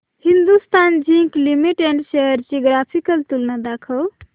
Hindustan zinc limited shares ची graphical तुलना दाखव